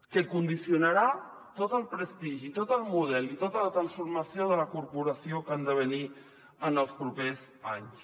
que condicionarà tot el prestigi tot el model i tota la transformació de la corporació que han de venir en els propers anys